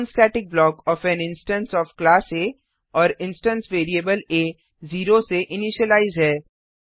non static block of an instance of class uh और instance variable uh 0 से initialize है